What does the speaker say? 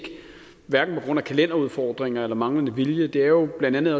hverken på grund af kalenderudfordringer eller manglende vilje det er jo blandt andet